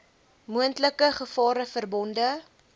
moontlike gevare verbonde